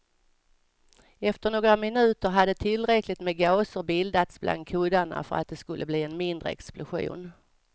Efter några minuter hade tillräckligt med gaser bildats bland kuddarna för att det skulle bli en mindre explosion.